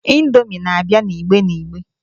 Indomi na-abia n'igbe n'igbe.